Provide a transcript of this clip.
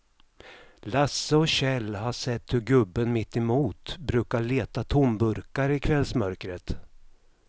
Lasse och Kjell har sett hur gubben mittemot brukar leta tomburkar i kvällsmörkret.